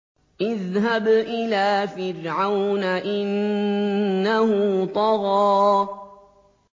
اذْهَبْ إِلَىٰ فِرْعَوْنَ إِنَّهُ طَغَىٰ